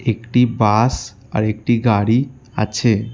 একটি বাস আরেকটি গাড়ি আছে।